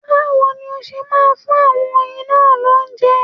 Báwo ni ó ṣe máa fún àwọn oyin náà lóúnjẹ?